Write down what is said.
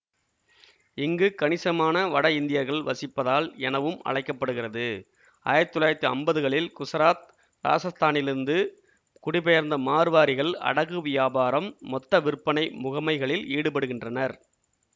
இங்கு கணிசமான வட இந்தியர்கள் வசிப்பதால் எனவும் அழைக்க படுகிறது ஆயிரத்தி தொள்ளாயிரத்தி அம்பதுகளில் குசராத் இராசத்தானிலிருந்து குடிபெயர்ந்த மார்வாரிகள் அடகு வியாபாரம்மொத்த விற்பனை முகமைகளில் ஈடுபடுகின்றனர்